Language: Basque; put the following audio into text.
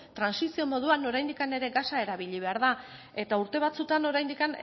trantsizio moduan oraindik ere gasa erabili behar da eta urte batzuetan oraindik